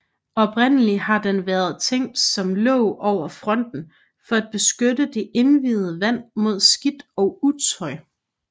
Oprindelig har den været tænkt som låg over fonten for at beskytte det indviede vand mod skidt og utøj